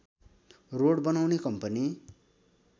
road बनाउने company